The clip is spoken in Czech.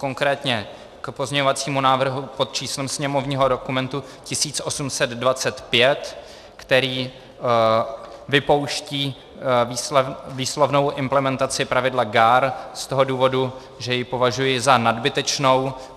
Konkrétně k pozměňovacímu návrhu pod číslem sněmovního dokumentu 1825, který vypouští výslovnou implementaci pravidla GAAR z toho důvodu, že ji považuji za nadbytečnou.